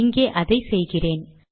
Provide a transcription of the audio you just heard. இங்கே அதை செய்கிறேன்